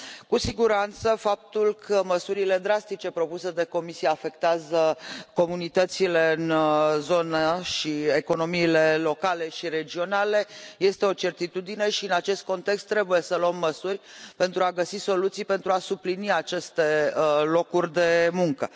Cu siguranță, faptul că măsurile drastice propuse de Comisie afectează comunitățile în zonă și economiile locale și regionale este o certitudine și în acest context trebuie să luăm măsuri pentru a găsi soluții pentru a suplini aceste locuri de muncă.